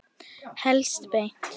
Helst beint.